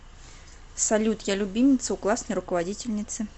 салют я любимица у классной руководительницы